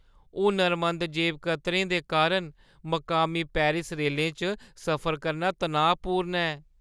हुनरमंद जेबकतरें दे कारण मकामी पेरिस रेलें च सफर करना तनाऽपूर्ण ऐ।